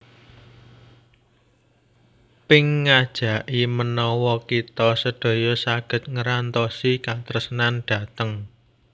Pink ngajaki menawa kita sedaya saget ngerantosi katresnan dhateng